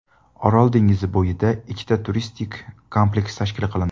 Orol dengizi bo‘yida ikkita turistik kompleks tashkil qilindi.